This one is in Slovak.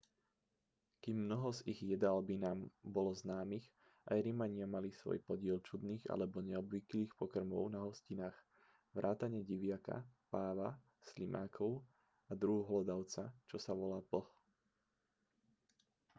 kým mnoho z ich jedál by nám bolo známych aj rimania mali svoj podiel čudných alebo neobvyklých pokrmov na hostinách vrátane diviaka páva slimákov a druhu hlodavca čo sa volá plch